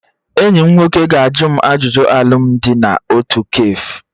Enyi m nwoke ga-ajụ m ajụjụ alụmdi na otu kafe